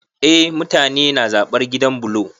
Eh, mutane na zaɓar gidan bulo